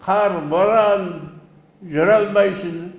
қар боран жүре алмайсың